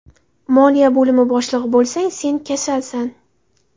Moliya bo‘limi boshlig‘i bo‘lsang, sen kasalsan.